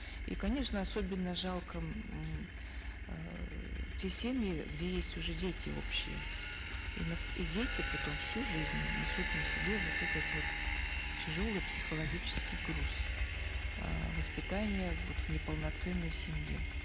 и конечно особенно жалко м эээ те семьи где есть уже дети общие и и дети потом всю жизнь несут на себе вот этот вот тяжелый психологический груз э воспитания вот в неполноценной семье